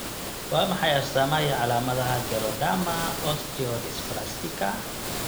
Waa maxay astaamaha iyo calaamadaha Geroderma osteodysplastica?